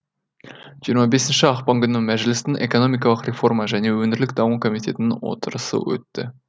жиырма бесінші ақпан күні мәжілістің экономикалық реформа және өңірлік даму комитетінің отырысы өтті